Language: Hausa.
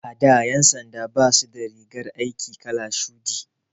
A da ƴan sanda basu da rigar aiki kalar shuɗi.